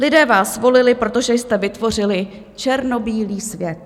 Lidé vás volili, protože jste vytvořili černobílý svět.